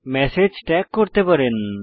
message tag করতে পারেন